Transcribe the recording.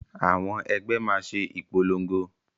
Àwọn ẹgbẹ́ máa ṣe ìpolongo